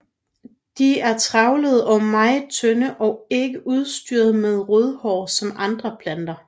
De er trævlede og meget tynde og ikke udstyret med rodhår som andre planter